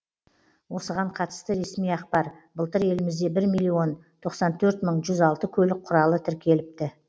осыған қатысты ресми ақпар былтыр елімізде бір миллион тоқсан төрт мың жүз алты көлік құралы тіркеліпті